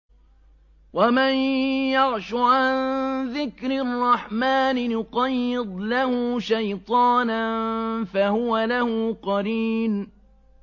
وَمَن يَعْشُ عَن ذِكْرِ الرَّحْمَٰنِ نُقَيِّضْ لَهُ شَيْطَانًا فَهُوَ لَهُ قَرِينٌ